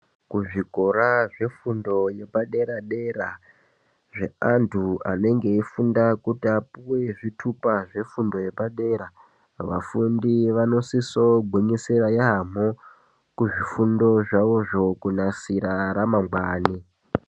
Kuzvikora zvefundo yepadera dera zvevantu anenge eipuwa kuti apuwe zvitupa zvefundo yepadera vafundi vanosisa gwinyisira yambo Kuzvifundo zvawo kunasira ramangwani.